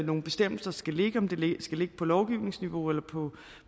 nogle bestemmelser skal ligge om det skal ligge på lovgivningsniveau eller på